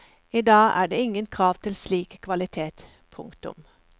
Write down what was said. I dag er det ingen krav til slik kvalitet. punktum